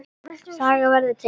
Saga verður til